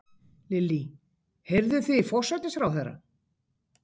Lillý: Heyrðuð þið í forsætisráðherra?